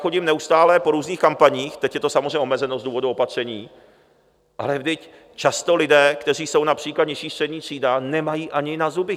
Chodím neustále po různých kampaních, teď je to samozřejmě omezeno z důvodu opatření, ale vždyť často lidé, kteří jsou například nižší střední třída, nemají ani na zuby.